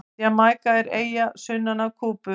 Jamaíka er eyja sunnan af Kúbu.